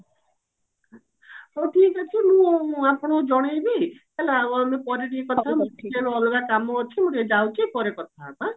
ହଉ ଠିକ ଅଛି ମୁଁ ଆପଣଙ୍କୁ ଜଣେଇବି ହେଲା ଆଉ ଆମେ ପରେ ଟିକେ କଥା ହବା ଅଲଗା କାମ ଅଛି ମୁଁ ଟିକେ ଯାଉଛି ପରେ କଥା ହବା